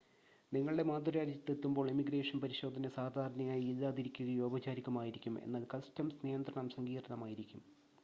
നിങ്ങളുടെ മാതൃരാജ്യത്ത് എത്തുമ്പോൾ ഇമിഗ്രേഷൻ പരിശോധന സാധാരണയായി ഇല്ലാതിരിക്കുകയോ ഔപചാരികമോ ആയിരിക്കും എന്നാൽ കസ്റ്റംസ് നിയന്ത്രണം സങ്കീർണ്ണമായിരിക്കും